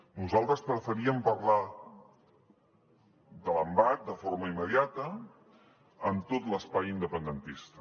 nosaltres preferíem parlar de l’embat de forma immediata amb tot l’espai independentista